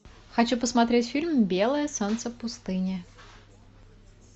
хочу посмотреть фильм белое солнце пустыни